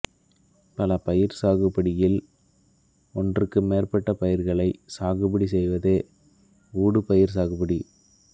பல பயிர் சாகுபடியில் ஒன்றுக்கு மேற்பட்ட பயிர்களைச் சாகுபடி செய்வதே ஊடு பயிர் சாகுபடி